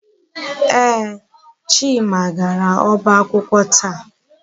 Ee, Chima gara ọba akwụkwọ taa.